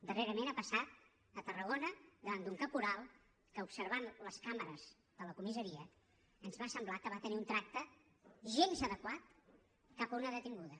darrerament ha passat a tarragona davant d’un caporal que observant les càmeres de la comissaria ens va semblar que va tenir un tracte gens adequat cap a una detinguda